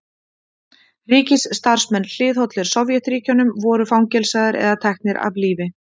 ríkisstarfsmenn hliðhollir sovétríkjunum voru fangelsaðir eða teknir af lífi